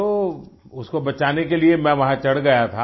तो उसको बचाने के लिए मैं वहाँ चढ़ गया था